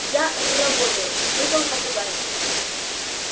я р-работаю выдал попугай